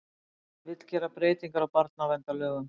Vill gera breytingar á barnaverndarlögum